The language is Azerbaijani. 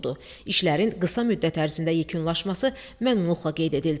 İşlərin qısa müddət ərzində yekunlaşması məmnunluqla qeyd edildi.